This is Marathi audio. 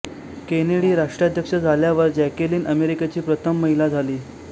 केनेडी राष्ट्राध्यक्ष झाल्यावर जॅकेलिन अमेरिकेची प्रथम महिला झाली